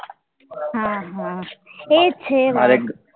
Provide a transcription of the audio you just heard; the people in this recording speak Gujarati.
હા હા એ જ છે હવે